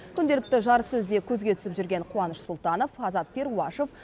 күнделікті жарыссөзде көзге түсіп жүрген қуаныш сұлтанов азат перуашев